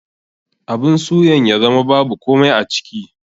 Abun suyan ya zama babu komai a ciki.